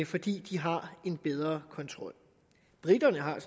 fordi de har en bedre kontrol briterne har